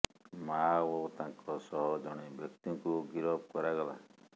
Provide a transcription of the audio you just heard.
ମାଆ ଓ ତାଙ୍କ ସହ ଜଣେ ବ୍ୟକ୍ତିଙ୍କୁ ଗିରଫ କରାଗଲା